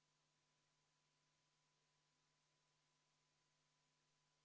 See on Vabariigi Valitsuse algatatud 2023. aasta riigieelarve seaduse muutmise seaduse eelnõu 214.